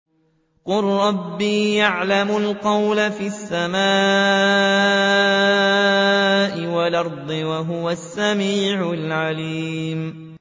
قَالَ رَبِّي يَعْلَمُ الْقَوْلَ فِي السَّمَاءِ وَالْأَرْضِ ۖ وَهُوَ السَّمِيعُ الْعَلِيمُ